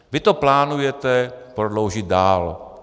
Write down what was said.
Vy to plánujete prodloužit dál.